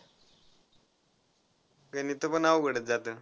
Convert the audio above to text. गणित पण अवघडच जात.